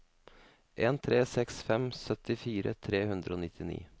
en tre seks fem syttifire tre hundre og nittini